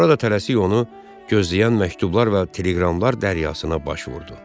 Sonra da tələsik onu gözləyən məktublar və teleqramlar dənizına baş vurdu.